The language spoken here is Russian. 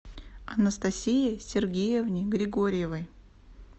анастасии сергеевне григорьевой